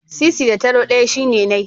Sisi da taro ɗaya shine nai.